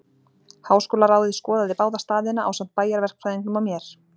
Háskólaráðið skoðaði báða staðina, ásamt bæjarverkfræðingnum og mér.